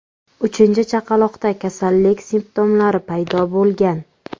Uchinchi chaqaloqda kasallik simptomlari paydo bo‘lgan.